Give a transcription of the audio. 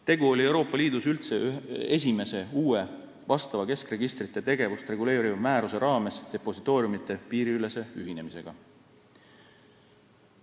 Tegu oli Euroopa Liidus üldse esimese uue vastava keskregistrite tegevust reguleeriva määruse raames depositooriumide piiriülese ühinemisega.